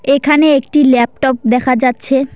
এখানে একটি ল্যাপটপ দেখা যাচ্ছে।